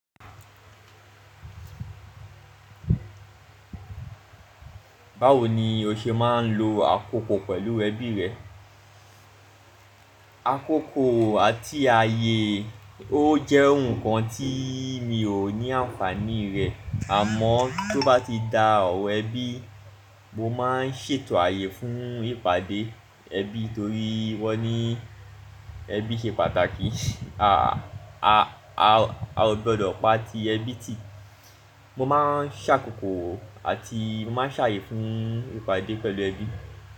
Báwo ni o ṣe máa ń lo àkókò pẹ̀lú ẹbí rẹ? Àkókò àti ààyè ó jẹ́ nǹkan tí mi ò ní àǹfàní rẹ̀ àmọ́ tó bá ti da ọ̀wọ̀ ẹbí, mo máa ń ṣètò ààyè fún ìpàdé ẹbí torí wọ́n ní ẹbí ṣe pàtàkì. A, a, a, a ò gbọdọ̀ pa ti ẹbí tì. Mo máa ń ṣàkókò àti mo máa ń ṣàyè fún ìpàdé pẹ̀lú ẹbí.